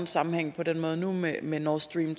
sammenhæng på den måde nu med med nord stream